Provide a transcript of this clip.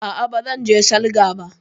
A'a, ba zan je salga ba